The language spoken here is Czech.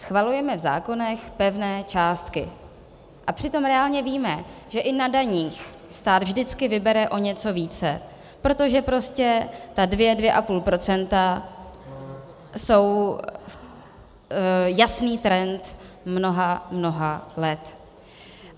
Schvalujeme v zákonech pevné částky, a přitom reálně víme, že i na daních stát vždycky vybere o něco více, protože prostě ta dvě, dvě a půl procenta jsou jasný trend mnoha, mnoha let.